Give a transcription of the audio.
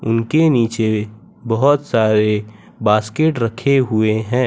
उनके नीचे बहोत सारे बास्केट रखे हुए हैं।